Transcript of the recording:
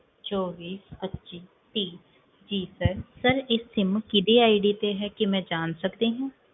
ਚੋਵੀ ਪੱਚੀ ਤੀਹ ਜੀ sir sir ਇਹ sim ਕਿਹਦੀ ID ਤੇ ਹੈ, ਕੀ ਮੈਂ ਜਾਣ ਸਕਦੀ ਹਾਂ?